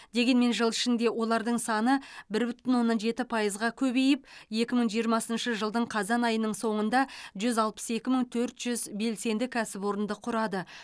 дегенмен жыл ішінде олардың саны бір бүтін оннан жеті пайызға көбейіп екі мың жиырмасыншы жылдың қазан айының соңында жүз алпыс екі мың төрт жүз белсенді кәсіпорынды құрады